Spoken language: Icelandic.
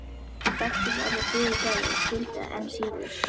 Ég þekkti ekki orðið fyrirgefðu og skildi það enn síður.